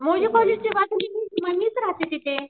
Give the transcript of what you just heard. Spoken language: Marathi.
मौजे कॉलेजच्या मग मीच राहते तिथे.